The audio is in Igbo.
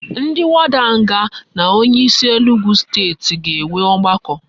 Ndi warder nga na onye isi a enugwu state ga enwe ogbako